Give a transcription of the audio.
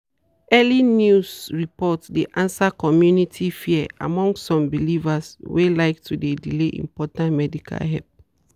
early news report dey answer community fear among some believers wey like to dey delay important medical help.